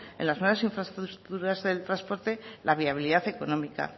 en las nuevas infraestructuras de transporte la viabilidad económica